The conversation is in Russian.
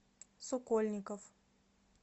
сокольников